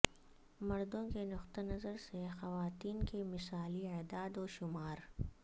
مردوں کے نقطہ نظر سے خواتین کے مثالی اعداد و شمار